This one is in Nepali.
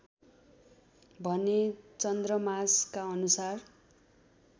भने चन्द्रमासका अनुसार